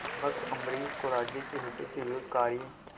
भक्त अम्बरीश को राज्य के हितों के विरुद्ध कार्य